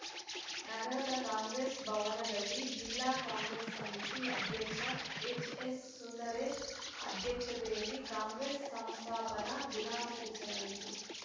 ನಗರದ ಕಾಂಗ್ರೆಸ್‌ ಭವನದಲ್ಲಿ ಜಿಲ್ಲಾ ಕಾಂಗ್ರೆಸ್‌ ಸಮಿತಿ ಅಧ್ಯಕ್ಷ ಎಚ್‌ಎಸ್‌ಸುಂದರೇಶ್‌ ಅಧ್ಯಕ್ಷತೆಯಲ್ಲಿ ಕಾಂಗ್ರೆಸ್‌ ಸಂಸ್ಥಾಪನ ದಿನಾಚರಿಸಲಾಯಿತು